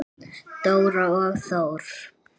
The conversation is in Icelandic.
Dóra og Þór.